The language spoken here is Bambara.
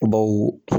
Baw